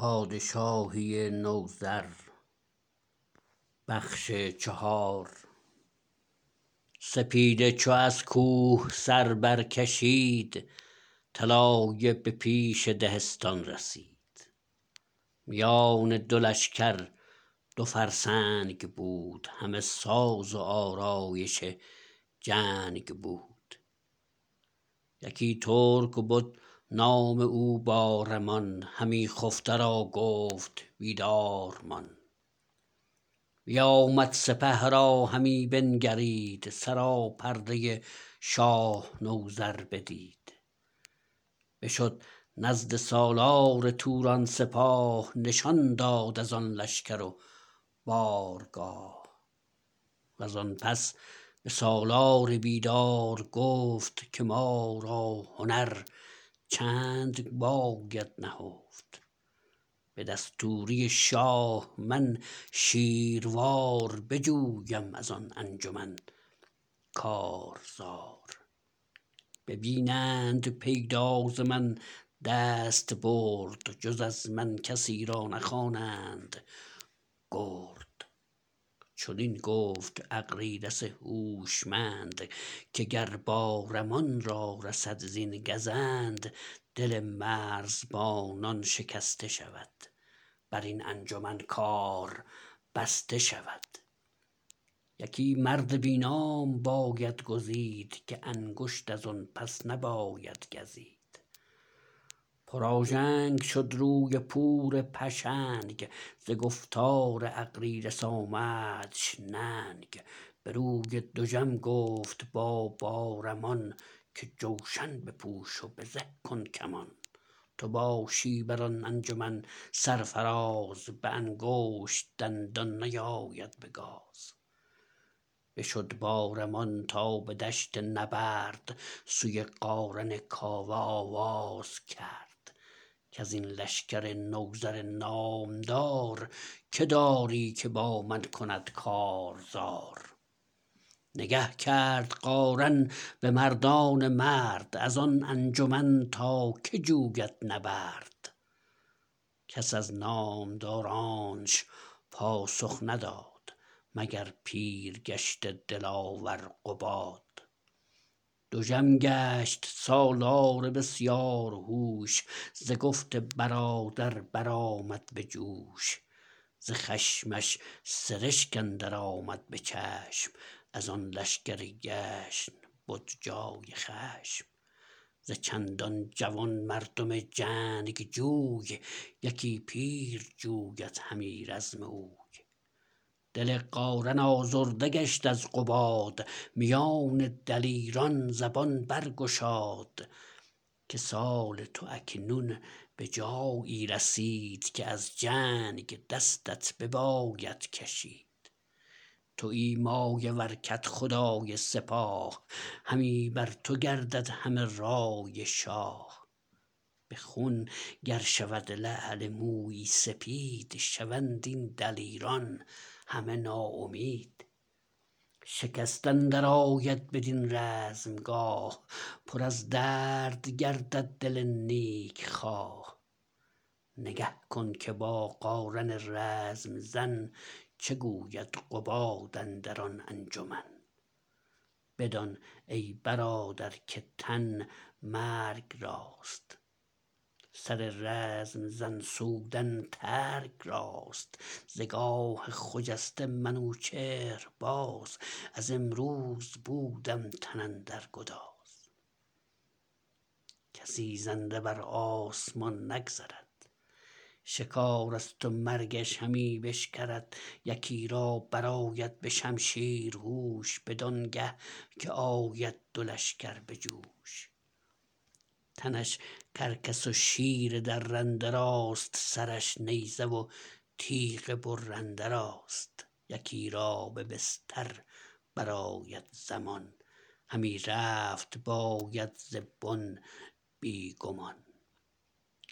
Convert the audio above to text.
سپیده چو از کوه سر برکشید طلایه به پیش دهستان رسید میان دو لشکر دو فرسنگ بود همه ساز و آرایش جنگ بود یکی ترک بد نام او بارمان همی خفته را گفت بیدار مان بیامد سپه را همی بنگرید سراپرده شاه نوذر بدید بشد نزد سالار توران سپاه نشان داد ازان لشکر و بارگاه وزان پس به سالار بیدار گفت که ما را هنر چند باید نهفت به دستوری شاه من شیروار بجویم ازان انجمن کارزار ببینند پیدا ز من دستبرد جز از من کسی را نخوانند گرد چنین گفت اغریرث هوشمند که گر بارمان را رسد زین گزند دل مرزبانان شکسته شود برین انجمن کار بسته شود یکی مرد بی نام باید گزید که انگشت ازان پس نباید گزید پرآژنگ شد روی پور پشنگ ز گفتار اغریرث آمدش ننگ بروی دژم گفت با بارمان که جوشن بپوش و به زه کن کمان تو باشی بران انجمن سرفراز به انگشت دندان نیاید به گاز بشد بارمان تا به دشت نبرد سوی قارن کاوه آواز کرد کزین لشکر نوذر نامدار که داری که با من کند کارزار نگه کرد قارن به مردان مرد ازان انجمن تا که جوید نبرد کس از نامدارانش پاسخ نداد مگر پیرگشته دلاور قباد دژم گشت سالار بسیار هوش ز گفت برادر برآمد به جوش ز خشمش سرشک اندر آمد به چشم از آن لشکر گشن بد جای خشم ز چندان جوان مردم جنگجوی یکی پیر جوید همی رزم اوی دل قارن آزرده گشت از قباد میان دلیران زبان برگشاد که سال تو اکنون به جایی رسید که از جنگ دستت بباید کشید تویی مایه ور کدخدای سپاه همی بر تو گردد همه رای شاه بخون گر شود لعل مویی سپید شوند این دلیران همه ناامید شکست اندرآید بدین رزم گاه پر از درد گردد دل نیک خواه نگه کن که با قارن رزم زن چه گوید قباد اندران انجمن بدان ای برادر که تن مرگ راست سر رزم زن سودن ترگ راست ز گاه خجسته منوچهر باز از امروز بودم تن اندر گداز کسی زنده بر آسمان نگذرد شکارست و مرگش همی بشکرد یکی را برآید به شمشیر هوش بدانگه که آید دو لشگر به جوش تنش کرگس و شیر درنده راست سرش نیزه و تیغ برنده راست یکی را به بستر برآید زمان همی رفت باید ز بن بی گمان